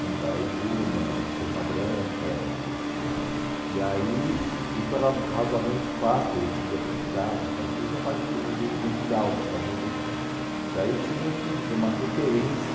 né, Paraibuna, Santa Branca, e aí isso era razoavelmente fácil, quer dizer, a gente ia para a cidade e tal, depois tinha a parte do do do rural, das fazendas, que aí tinha aqui, tinha uma referência